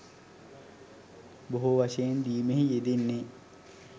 බොහෝ වශයෙන් දීමෙහි යෙදන්නේ